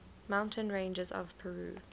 mountain ranges of peru